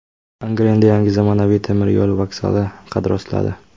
Angrenda yangi zamonaviy temir yo‘l vokzali qad rostladi.